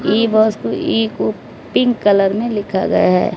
ई bus को E को pink colour मे लिखा गया है।